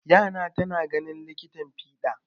Ƴata tana ganin likitan fiɗa.